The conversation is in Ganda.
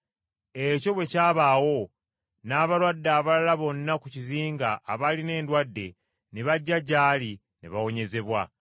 Ekyo bwe kyabaawo, n’abalwadde abalala bonna ku kizinga abaalina endwadde ne bajja gy’ali ne bawonyezebwa.